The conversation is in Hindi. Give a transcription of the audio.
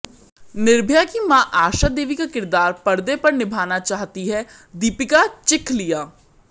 निर्भया की मां आशा देवी का किरदार पर्दे पर निभाना चाहती है दीपिका चिखलिया